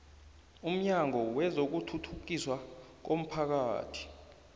umnyango wezokuthuthukiswa komphakathi